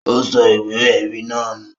Ó sọ ìwé-ẹ̀rí náà nù?